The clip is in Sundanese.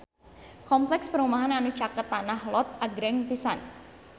Kompleks perumahan anu caket Tanah Lot agreng pisan